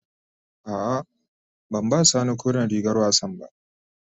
A'a, ban ba sani koren rigar wassan ba.